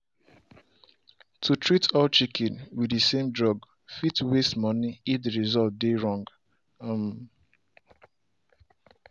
to treat all chicken with the same drug fit waste money if the result dey wrong. um